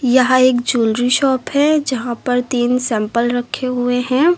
यह एक jewellery shop है जहां पर तीन सैंपल रखे हुए हैं।